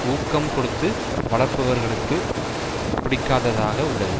ஊக்கம் கொடுத்து வளர்ப்பவர்களுக்கும் பிடிக்காததாக உள்ளது